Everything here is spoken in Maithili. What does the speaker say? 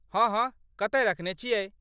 हँ हँ, कतय रखने छियै?